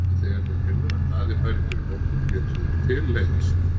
En þegar þeir heyrðu að Daði færi fyrir hópnum létu þeir til leiðast.